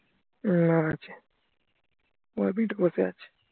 না আছে বসে আছে